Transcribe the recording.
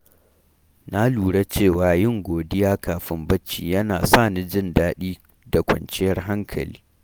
Na lura cewa yin godiya kafin barci yana sa ni jin daɗi da kwanciyar hankali.